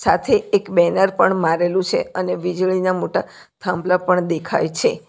આથી એક બેનર પણ મારેલું છે અને વીજળીના મોટા થાંભલા પણ દેખાય છે.